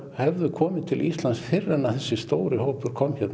hefðu komið til Íslands fyrr en þessi stóri hópur